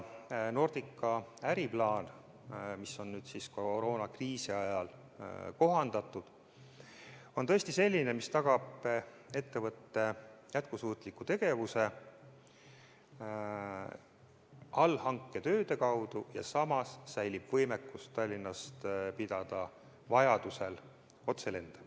Nordica äriplaan, mida on ka koroonakriisi ajal kohandatud, on selline, mis tagab ettevõtte jätkusuutliku tegevuse allhanketööde kaudu, ja samas säilib võimekus teha Tallinnast vajaduse korral otselende.